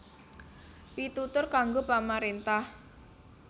Pitutur kanggo pamaréntah